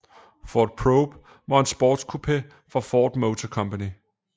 Ford Probe var en sportscoupé fra Ford Motor Company